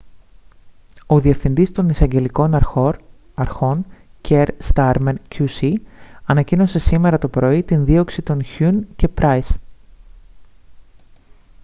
ο διευθυντής των εισαγγελικών αρχών kier starmer qc ανακοίνωσε σήμερα το πρωί τη δίωξη των huhne και pryce